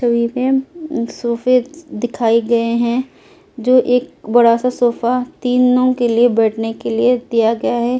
सोफे दिखाई गए हैं जो एक बड़ा सा सोफा तीनों के लिए बैठने के लिए दिया गया है।